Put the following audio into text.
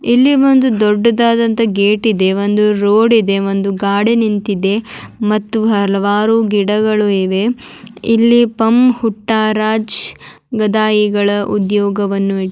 ಇಲ್ಲಿ ಒಂದು ದೊಡ್ಡದಾದಂತ ಗೇಟ್ ಇದೆ ಒಂದು ರೋಡ್ ಇದೆ ಒಂದು ಗಾಡಿ ನಿಂತಿದೆ ಮತ್ತು ಹಲವಾರು ಗಿಡಗಳು ಇವೆ ಇಲ್ಲಿ ಪಮ್ಮ್ ಹುಟ್ಟಾ ರಾಜ್ ಗದಾಯಿಗಳ ಉದ್ಯೋಗವನ್ನು ಇ--